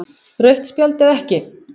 Rautt spjald eða ekki?